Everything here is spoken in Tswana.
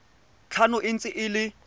tlhano e ntse e le